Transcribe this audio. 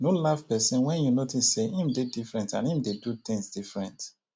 no laugh person when you notice sey im dey different and im dey do things different